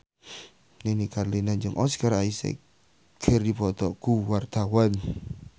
Nini Carlina jeung Oscar Isaac keur dipoto ku wartawan